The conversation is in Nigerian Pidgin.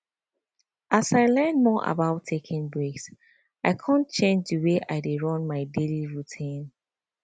as i learn more about taking breaks i come change the way i dey dey run my daily routine